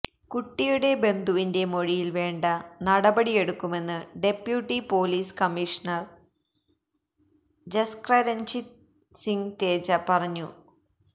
കുട്ടിയുടെ ബന്ധുവിന്റെ മൊഴിയില് വേണ്ട നടപടിയെടുക്കുമെന്ന് deputy police commissioner Jaskaranjit Singh Teja പറഞ്ഞു